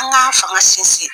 An k'an fanga sinsin